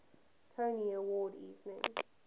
tony award winning